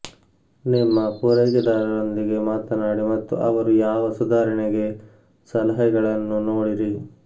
ನಿಮ್ಮ ಪೂರೈಕೆದಾರರೊಂದಿಗೆ ಮಾತನಾಡಿ ಮತ್ತು ಅವರು ಯಾವ ಸುಧಾರಣೆಗೆ ಸಲಹೆಗಳನ್ನು ನೋಡಿರಿ